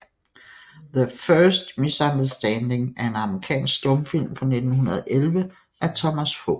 Their First Misunderstanding er en amerikansk stumfilm fra 1911 af Thomas H